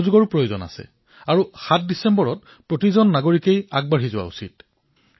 সহভাগী হোৱাও আৱশ্যক আৰু ৭ ডিচেম্বৰ তাৰিখে সকলো নাগৰিক আগবাঢ়ি আহিব লাগে